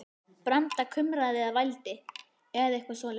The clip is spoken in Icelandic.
Branda kumraði eða vældi, eða eitthvað svoleiðis.